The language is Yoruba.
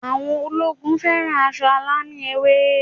Àwọn ológun fẹ́ràn aṣọ alámì ewé